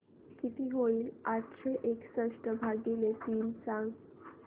किती होईल आठशे एकसष्ट भागीले तीन सांगा